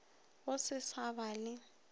go se sa ba le